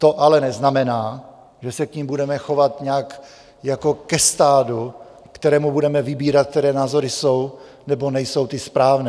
To ale neznamená, že se k nim budeme chovat nějak... jako je stádu, kterému budeme vybírat, které názory jsou nebo nejsou ty správné.